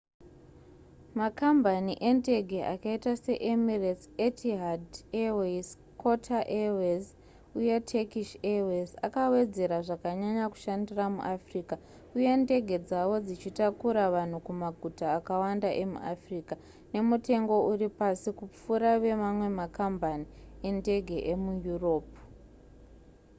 makambani endege akaita seemirates etihad airways qatar airways uye turkish airways akawedzera zvakanyanya kushandira muafrica uye ndege dzavo dzichitakura vanhu kumaguta akawanda emuafrica nemutengo uri pasi kupfuura wemamwe makambani endege emuyuropu